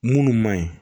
Munnu ma ɲi